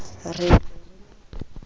re e se e le